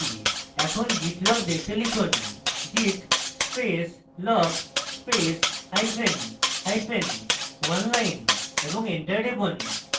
এখন git log দেখতে লিখুন: git space log space hyphen hyphen oneline এবং enter টিপুন